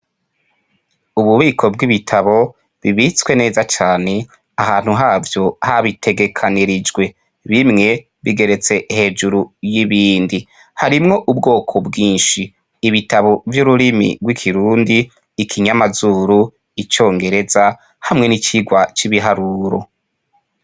Ububiko bw'ibitabo bibitswe neza cane ahantu havyo habitegekanirijwe, bimwe bigeretse hejuru y'ibindi, harimwo ubwoko bwinshi: Ibitabo vy'ururimi rw'ikirundi, ikinyamazuru, icongereza hamwe n'icigwa c'ibiharuro.